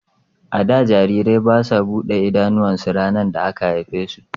A da, jarirai ba su buɗe idanuwansu ranar da aka haife su.